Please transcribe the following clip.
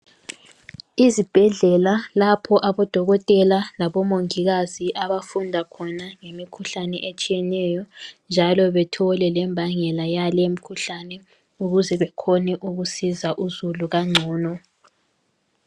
Izibhedlela lapho abodokotela labomongikazi abafunda khona ngemikhuhlane etshiyeneyo njalo bethole lembangela yale imkhuhlane ukuze bekhone ukusiza uzulu kangcono